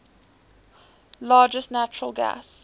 largest natural gas